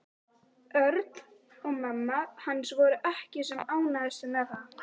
Örn og mamma hans voru ekki sem ánægðust með það.